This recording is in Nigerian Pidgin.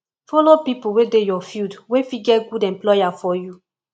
follow pipo wey dey your field wey fit get good employer for you